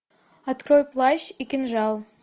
открой плащ и кинжал